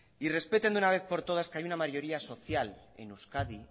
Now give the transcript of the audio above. y respeten de una vez por todas que hay una mayoría social en euskadi